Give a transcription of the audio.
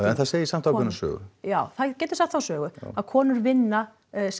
en það segir samt ákveðna sögu já það getur sagt þá sögu að konur vinna